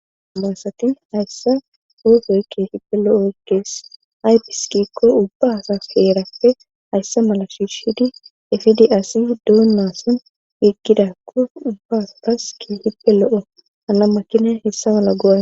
amaasati hayssa poofoy keefippe lo7o kees aypiskikko ubbasa heerappe hayssa mala shiishidi efidi asi duonnason iggidakko ubba pas keefippe lo7o ana makinen hessa mala goa